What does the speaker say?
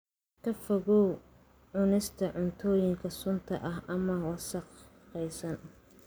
Ka fogow cunista cuntooyinka sunta ah ama wasakhaysan.